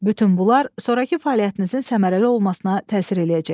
Bütün bunlar sonrakı fəaliyyətinizin səmərəli olmasına təsir eləyəcək.